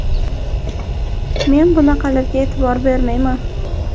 Men bunaqalarga e’tibor ham bermayman.